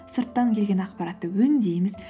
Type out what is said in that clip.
сырттан келген ақпаратты өңдейміз